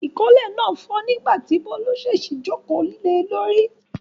Ìkọ́lé náà fọ́ nígbà tí Bólú ṣèṣì jókòó le lórí.